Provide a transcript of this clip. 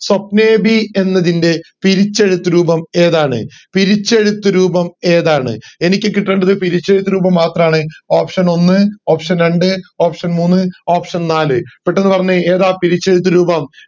സ്വപ്നേഭി എന്നതിൻറെ പിരിച്ചെഴുത്ത് രൂപം ഏതാണ് പിരിച്ചെഴുത്ത് രൂപം ഏതാണ് എനിക്ക് കിട്ടേണ്ടത് പിരിച്ചെഴുത്ത് രൂപം മാത്രാണ് options ഒന്ന് options രണ്ട് options മൂന്ന് options നാല് പെട്ടന്ന് പറഞ്ഞെ ഏതാ പിരിച്ചെഴുത്ത് രൂപം